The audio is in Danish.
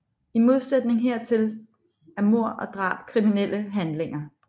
I modsætning hertil er mord og drab kriminelle handlinger